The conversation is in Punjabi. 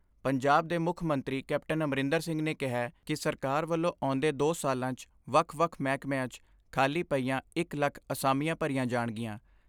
ਪੰਜਾਬ ਦੇ ਮੁੱਖ ਮੰਤਰੀ ਕੈਪਟਨ ਅਮਰਿੰਦਰ ਸਿੰਘ ਨੇ ਕਿਹੈ ਕਿ ਸਰਕਾਰ ਵੱਲੋਂ ਆਉਂਦੇ ਦੋ ਸਾਲਾਂ 'ਚ ਵੱਖ ਵੱਖ ਮਹਿਕਮਿਆਂ 'ਚ ਖਾਲੀ ਪਈਆਂ ਇਕ ਲੱਖ ਅਸਾਮੀਆਂ ਭਰੀਆਂ ਜਾਣਗੀਆਂ।